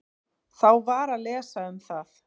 Þá var að lesa um það.